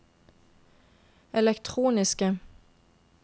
elektroniske